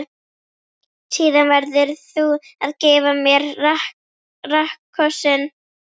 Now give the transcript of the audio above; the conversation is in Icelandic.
Síðan verður þú að gefa mér rakkossinn.